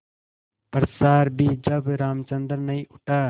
पश्चार भी जब रामचंद्र नहीं उठा